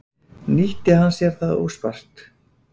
Nýtti hann sér það óspart.